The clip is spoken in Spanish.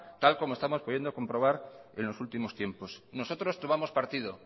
tal como estamos pudiendo comprobar en los últimos tiempos nosotros tomamos partido